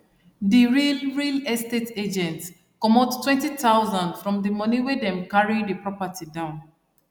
the real real estate agent comot 20000 from the money wey them carry the property down